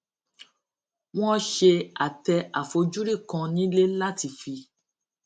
wón ṣe àtẹ àfojúrí kan nílé láti fi